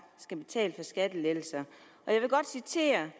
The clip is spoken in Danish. skal betale for skattelettelser og jeg vil godt citere